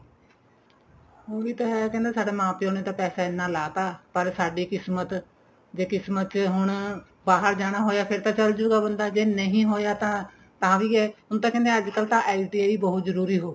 ਉਹੀ ਤਾਂ ਹੈ ਕਹਿੰਦੇ ਸਾਡੇ ਮਾਂ ਪਿਉ ਨੇ ਤਾਂ ਪੈਸਾ ਇੰਨਾ ਲਾਤਾ ਪਰ ਸਾਡੀ ਕਿਸਮਤ ਜੇ ਕਿਸਮਤ ਚ ਹੁਣ ਬਾਹਰ ਜਾਣਾ ਹੋਇਆ ਫੇਰ ਤਾਂ ਚੱਲਜੁਗਾ ਬੰਦਾ ਜੇ ਨਹੀਂ ਹੋਇਆ ਤਾਂ ਤਾਂ ਵੀ ਏ ਹੁਣ ਤਾਂ ਕਹਿੰਦੇ ਅੱਜਕਲ ਤਾਂ ITI ਬਹੁਤ ਜਰੂਰੀ ਹੋ ਗਈ